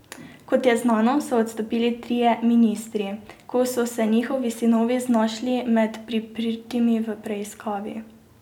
Kot je znano, so odstopili trije ministri, ko so se njihovi sinovi znašli med priprtimi v preiskavi.